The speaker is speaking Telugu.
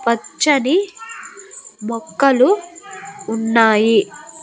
పచ్చని మొక్కలు ఉన్నాయి.